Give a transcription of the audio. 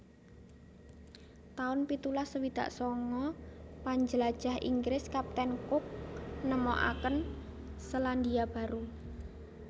taun pitulas swidak sanga Panjlajah Inggris Kapten Cook nemokaken Selandia Baru